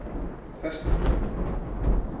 Ferstiklu